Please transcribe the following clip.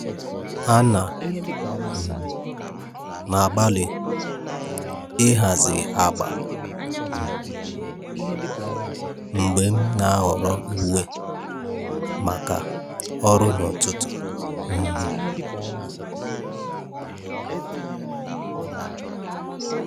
À nà um m ágbàlị́ ị́hàzì ágbà um mgbè m nà-áhọ́rọ́ úwé màkà ọ́rụ́ n’ụ́tụ́tụ́. um